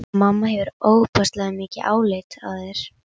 Mamma hefur ofboðslega mikið álit á þér!